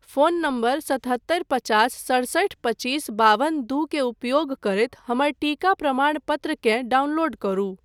Phone number सतहत्तरि पचास सड़सठि पच्चीस बाबन दूके उपयोग करैत हमर टीका प्रमाणपत्रकेँ डाउनलोड करू।